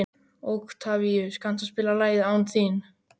Októvíus, kanntu að spila lagið „Án þín“?